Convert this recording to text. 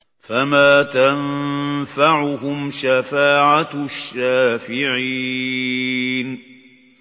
فَمَا تَنفَعُهُمْ شَفَاعَةُ الشَّافِعِينَ